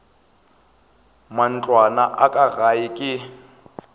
matlwana a ka gae ke